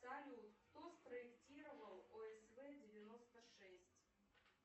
салют кто спроектировал осв девяносто шесть